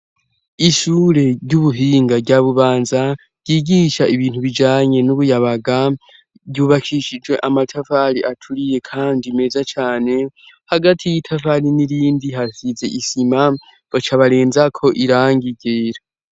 Ishure ry'ubuhinga rya bubanza ryigisha ibintu bijanye n'ubuyabaga ryubakishijwe amatavali aturiye, kandi meza cane hagati y'itafali n'irindi hasize isima baca abarenzako iranga igera.